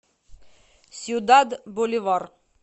сьюдад боливар